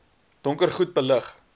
donker goed belig